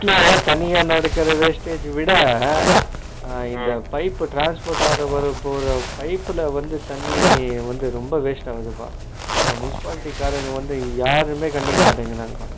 வீட்ல நனியா நடக்குற wastage ஜ விட அஹ இந்த pipe transport ஆகுறது pipe ல வந்து தண்ணி வந்து ரொம்ப waste ஆகுதுப்பா, இந்த municipality காரங்க வந்து யாருமே கண்டுக்கமாட்டிரான்கப்பா